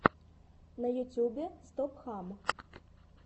на ютюбе стоп хам